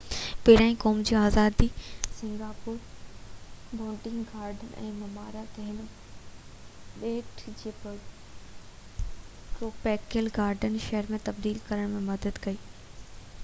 پهريان قوم جي آزادي ۾ سنگاپور بوٽينڪ گارڊن جي مهارت هن ٻيٽ کي ٽروپيڪل گارڊن شهر ۾ تبديل ڪرڻ ۾ مدد ڪئي